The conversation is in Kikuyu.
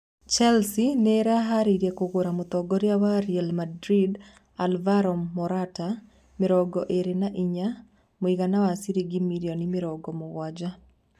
Chelsea nĩ ĩreharĩirie kũgũra mũtongoria wa Real Madrid Alvaro Morata, mĩrongo ĩrĩ na inya (AS) mũigana wa ciringi mirioni mĩrongo mugwanja.